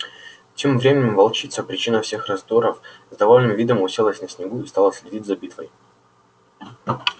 тем временем волчица причина всех раздоров с довольным видом уселась на снегу и стала следить за битвой